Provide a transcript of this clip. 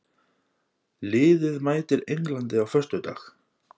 Liðið mætir Englandi á föstudag.